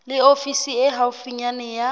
le ofisi e haufi ya